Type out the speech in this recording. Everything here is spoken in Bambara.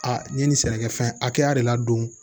Aa n ye nin sɛnɛkɛfɛn hakɛya de ladon